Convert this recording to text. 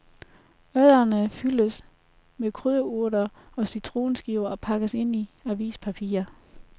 Ørrederne fyldes med krydderurter og citronskiver og pakkes ind i avispapir.